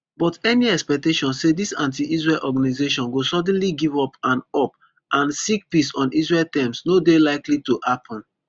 but any expectation say dis antiisrael organisation go suddenly give up and up and seek peace on israel terms no dey likely to happun